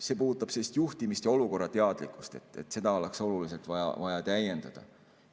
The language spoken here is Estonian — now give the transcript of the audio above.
See puudutab juhtimist ja olukorrateadlikkust, seda oleks oluliselt vaja täiendada.